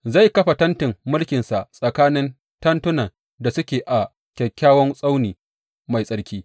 Zai kafa tentin mulkinsa tsakanin tekunan da suke a kyakkyawan tsauni mai tsarki.